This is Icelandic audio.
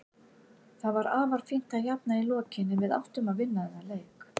Það var fínt að jafna í lokin en við áttum að vinna þennan leik.